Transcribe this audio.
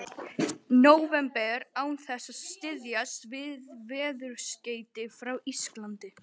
nóvember án þess að styðjast við veðurskeyti frá Íslandi.